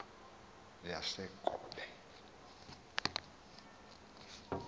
yasegobe